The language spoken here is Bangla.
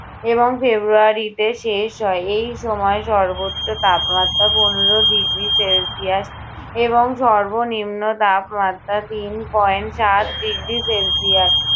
এবং ফেবরুয়ারিতে শেষ হয়। এই সময় সর্বোচ্চ তাপমাত্রা পনেরো degree celsius এবং সর্বনিম্ন তাপমাত্রা তিন point সাত degree celsius